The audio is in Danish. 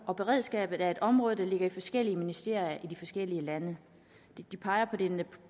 og beredskabet er et område der ligger i forskellige ministerier i de forskellige lande